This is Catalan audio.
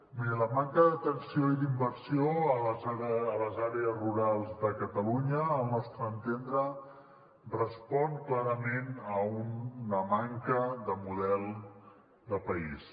miri la manca d’atenció i d’inversió a les àrees rurals de catalunya al nostre entendre respon clarament a una manca de model de país